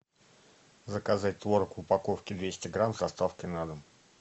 заказать творог в упаковке двести грамм с доставкой на дом